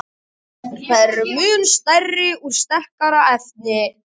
Þær eru mun stærri og úr sterkara efni.